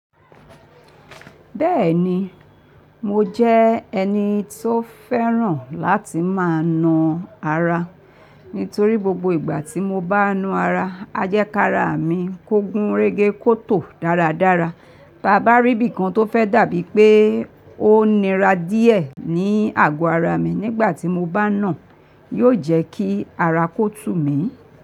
Bẹ́ẹ̀ni, mo jẹ́ ẹni tó fẹ́ràn láti máa na ara. Nítorí gbogbo ìgbà tí mo bá na ara, a jẹ́ ká ara mi kó gún régé kótò dáradára. Bá bá rí bí kan tó fẹ́ dàbí pé ó nira díẹ̀ ní àgọ ara mi nígbà tí mo bá nà, yóò jẹ́ kí ara kó tù mí.